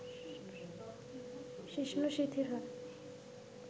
শিশ্ন শিথিল হয়